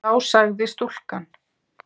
Þá sagði stúlkan